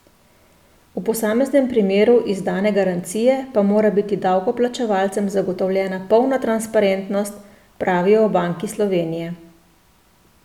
V posameznem primeru izdane garancije pa mora biti davkoplačevalcem zagotovljena polna transparentnost, pravijo v Banki Slovenije.